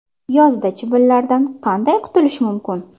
Yozda chivinlardan qanday qutulish mumkin?.